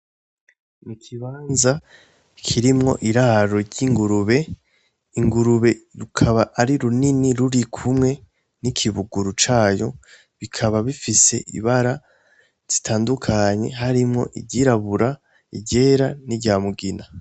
Nik’ikibanza kirimwo iraro ry'ingurube, ingurube rukaba ari runini rurikumwe n'ikibuguru cayo, rikaba rifise ibara ritandukanye harimwo iryirabura, iryera niry'umugina.